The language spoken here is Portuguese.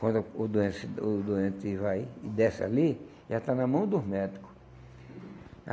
Quando o doente o doente vai e desce ali, já está na mão dos médicos.